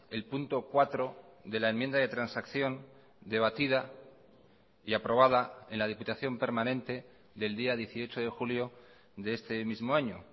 el punto cuatro de la enmienda de transacción debatida y aprobada en la diputación permanente del día dieciocho de julio de este mismo año